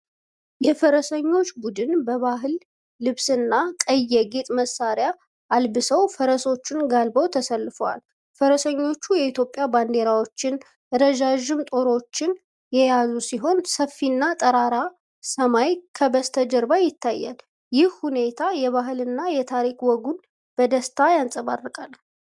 የፈረሰኞች ቡድን በባህል ልብስና ቀይ የጌጥ መሣሪያ አልብሰው ፈረሶችን ጋልበው ተሰልፈዋል። ፈረሰኞቹ የኢትዮጵያ ባንዲራዎችና ረዣዥም ጦሮች የያዙ ሲሆን፣ ሰፊና ጠራራ ሰማይ ከበስተጀርባ ይታያል። ይህ ሁኔታ የባህልና የታሪክ ወጉን በደስታ ያንጸባርቃል።